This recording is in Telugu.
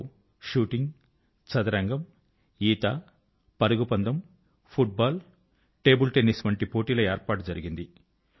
వీటిలో షూటింగ్ చదరంగం ఈత పరుగుపందెం ఫుట్ బాల్ మరియు టేబిల్ టెన్నిస్ వంటి పోటీల ఏర్పాటు జరిగింది